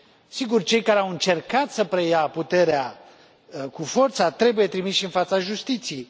Sigur, cei care au încercat să preia puterea cu forța trebuie trimiși în fața justiției.